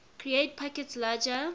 create packets larger